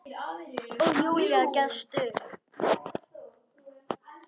Og Júlía gefst upp.